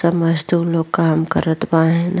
तब मजदूर लोग काम करत बाहेन।